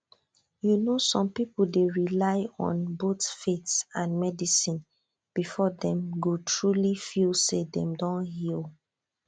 you know some people dey rely on both faith and medicine before dem go truly feel say dem don heal